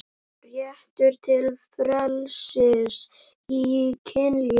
Réttur til frelsis í kynlífi